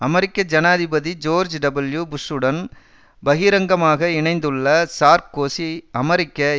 அமெரிக்க ஜனாதிபதி George W புஷ்ஷுடன் பகிரங்கமாக இணைந்துள்ள சார்க்கோசி அமெரிக்க